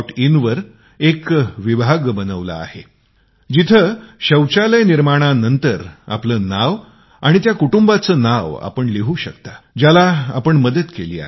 in वर एक विभाग बनवला आहे जिथे शौचालय निर्माणानंतर आपले नाव आणि त्या कुटुंबाचे नाव लिहू शकता ज्याची आपण मदत केली आहे